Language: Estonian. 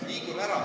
Või ei?